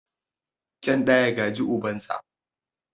Kyan ɗa ya gaji ubansa.